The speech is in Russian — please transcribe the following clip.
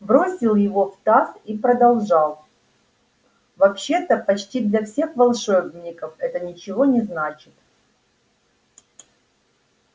бросил его в таз и продолжал вообще-то почти для всех волшебников это ничего не значит